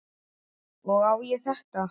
Og á ég þetta?